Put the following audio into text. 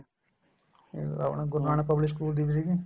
ਇਹ ਆਪਣਾ Guru Nanak public school ਦੀ building